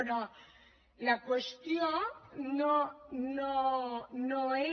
però la qüestió no és